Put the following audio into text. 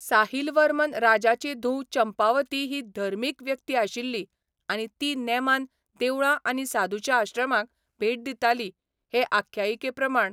साहिल वर्मन राजाची धूव चंपावती ही धर्मीक व्यक्ती आशिल्ली आनी ती नेमान देवळां आनी साधूच्या आश्रमांक भेट दिताली हे आख्यायिके प्रमाण.